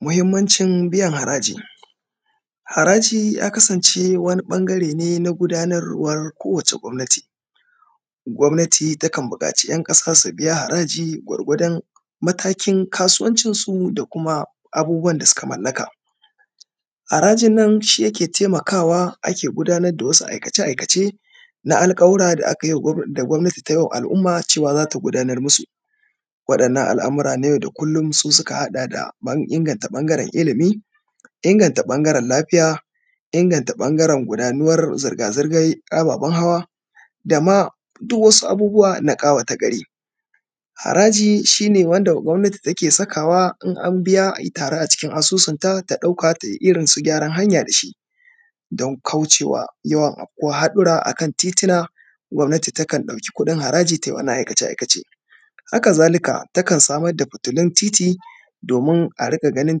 Muhimmancin biyan haraji. Haraji ya kasance wani ƃangare ne na gudanarwar kowace gwabnati, gwabnati takan buƙaci ‘yan ƙasa su biya haraji gwargwadon matakin kasuwancin su da kuma abubuwan da suka mallaka. Harajin nan shi yake temakawa ake gudanad da wasu aikace-aikace na alƙawura da aka yi wa gwab; da gwabnati tai wa al’uma cewa za ta gudanar musu. Waɗannan al’amura na yau da kullum su suka haɗa da ƃan; inganta ƃangaren ilimi, inganta ƃangaren lafiya, inganta ƃangaren gudanuwar zirga-zirgar ababen hawa, da ma duw wasu abubuwa na ƙawata gari. Haraji shi ne wanda gwabnati take sakawa in an biya ya taru a cikin asusunta ta ɗauka tai irin su gyaran hanya da shi, don kauce wa yawan afkuwah haɗura a kan titina, gwabnati takan ɗauki kuɗin haraji tai wannan aikace-aikace. Haka zalika, takan samar da fitulun titi, domin a riƙa ganin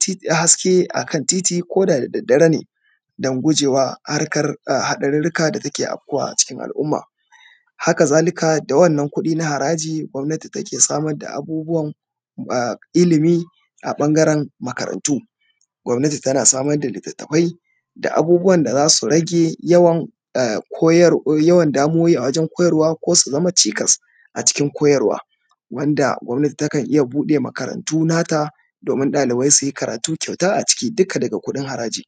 ti; haske a kan titi ko da da daddare ne, don guje wa harkar a haɗarirrika da take afkuwa a cikin al’uma. Haka zalika, da wannan kuɗi na haraji gwabnati take samad da abubuwan a ilimi a ƃangaren makarantu. Gwabnati tana samad da litattafai, da abubuwan da za su rage yawan a koyar; yawan damuwowi a wajen koyarwa ko su zama cikas a cikin koyarwa wanda gwabnati takan iya buɗe makarantu nata domin ɗalibai su yi karatu kyauta a ciki dika daga kuɗin haraji.